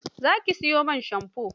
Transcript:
Za ki sayi man shamfo?